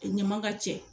Ɲama ka cɛ